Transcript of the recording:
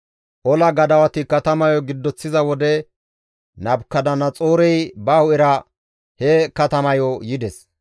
Ola gadawati katamayo giddoththiza wode Nabukadanaxoorey ba hu7era he katamayo yides.